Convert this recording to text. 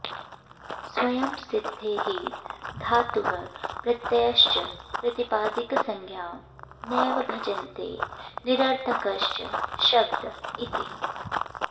स्वयं सिद्धे हि धातुः प्रत्ययश्च प्रातिपदिकसंज्ञां नैव भजन्ते निरर्थंकश्च शब्द इति